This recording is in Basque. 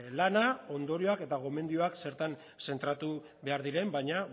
lana ondorioak eta gomendioak zertan zentratu behar diren baina